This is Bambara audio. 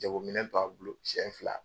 Jagominɛn b'a bolo siɲɛ fila